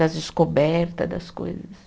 Das descoberta das coisas.